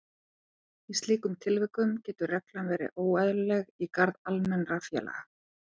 Í slíkum tilvikum getur reglan verið óeðlileg í garð almennra félaga.